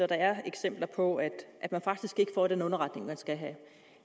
der er eksempler på at man faktisk ikke får den underretning man skal have